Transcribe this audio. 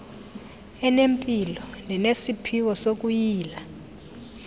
enempilo nenesiphiwo sokuyila